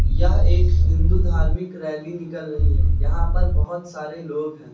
यह एक हिंदू धार्मिक रैली निकल रही है यहां पर बहुत सारे लोग हैं।